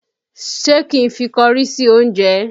Ṣé kí n fi kọrí sí oúnjẹ?